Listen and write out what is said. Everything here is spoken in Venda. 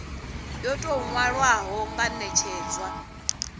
yo tou nwalwaho ya netshedzwa